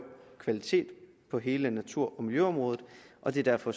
kvalitet på hele natur og miljøområdet og det er derfor